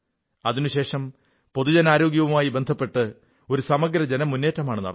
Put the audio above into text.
അതിനുശേഷം പൊതുജനാരോഗ്യവുമായി ബന്ധപ്പെട്ട് ഒരു സമഗ്ര ജനമുന്നേറ്റമാണ് നടന്നത്